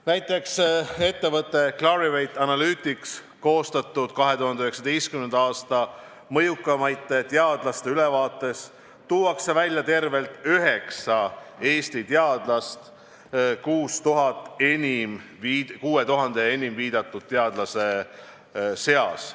Näiteks, ettevõtte Clarivate Analytics koostatud 2019. aasta mõjukaimate teadlaste ülevaates tuuakse esile tervelt üheksa Eesti teadlast 6000 enim viidatud teadlase seas.